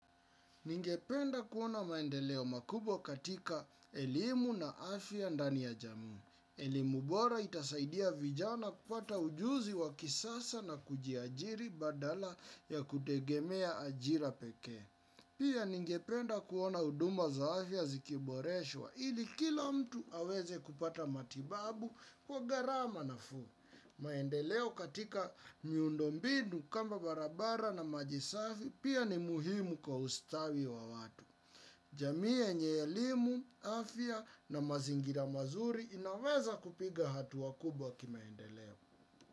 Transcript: Ningependa kuona maendeleo makubwa katika elimu na afya ndani ya jamii. Elimu bora itasaidia vijana kupata ujuzi wa kisasa na kujiajiri badala ya kutegemea ajira pekee. Pia ningependa kuona huduma za afya zikiboreshwa ili kila mtu aweze kupata matibabu kwa gharama nafuu. Maendeleo katika miundo mbinu kama barabara na maji safi pia ni muhimu kwa ustawi wa watu. Jamii yenye elimu, afya na mazingira mazuri inaweza kupiga hatua kubwa kimaendeleo.